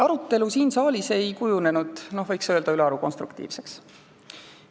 Arutelu siin saalis ei kujunenud, võiks öelda, ülearu konstruktiivseks.